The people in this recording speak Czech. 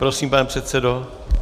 Prosím, pane předsedo.